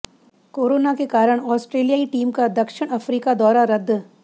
corona के कारण ऑस्ट्रेलियाई टीम का दक्षिण अफ्रीका दौरा रद्द